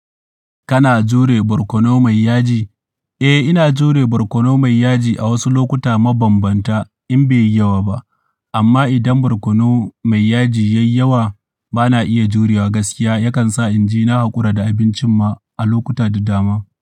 Kana jure barkono mai yaji? Eh, ina jure barkono mai yaji a wasu lokuta mabambanta in bai yi yawa ba. Amma idan barkono mai yaji ya yi yawa, ba na iya jurewa gaskiya. Yakan sa inji na haƙura da abincin ma a lokuta da dama.